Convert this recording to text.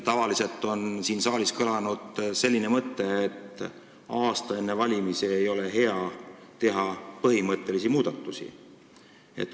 Tavaliselt on siin saalis kõlanud selline mõte, et aasta enne valimisi ei ole hea teha põhimõttelisi muudatusi.